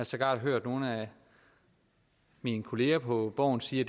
sågar hørt nogle af mine kolleger på borgen sige at